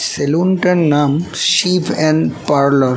Salon টার নাম Shiv and parlour.